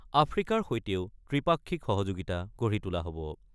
আফ্ৰিকাৰ সৈতেও ত্ৰিপাক্ষিক সহযোগিতা গঢ়ি তোলা হ'ব।